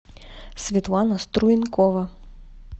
светлана струенкова